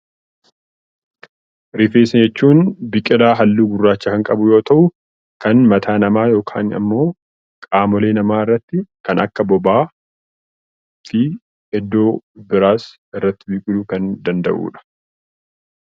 Rifeensa jechuun biqilaa halluu gurraacha qabu yemmuu ta'u, kan mataa namaa yookiin immoo qaama namaa irratti kan akka bobaa, iddoo biraas irratti biqiluu kan danda'udha.